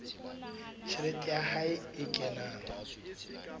tjhelete ya hae e kenang